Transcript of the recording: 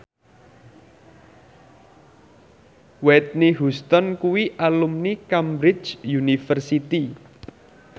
Whitney Houston kuwi alumni Cambridge University